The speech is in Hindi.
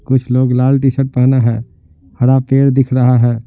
कुछ लोग लाल टी-शर्ट पहना है हरा पेड़ दिख रहा है।